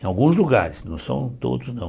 em alguns lugares, não são todos não.